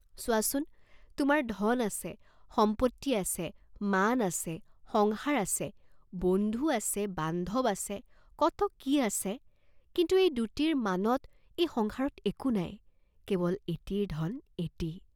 চোৱাঁচোন তোমাৰ ধন আছে, সম্পত্তি আছে, মান আছে, সংসাৰ আছে, বন্ধু আছে, বান্ধৱ আছে, কত কি আছে, কিন্তু এই দুটিৰ মানত এই সংসাৰত একো নাই, কেৱল এটিৰ ধন এটি।